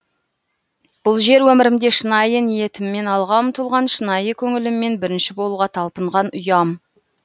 бұл жер өмірімде шынайы ниетіммен алға ұмтылған шынайы көңіліммен бірінші болуға талпынған ұям